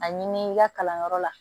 A ɲini i ka kalanyɔrɔ la